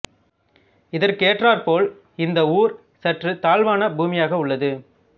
இதற்கேற்றாற் போல் இந்த ஊர் சற்றுத் தாழ்வான பூமியாக உள்ளது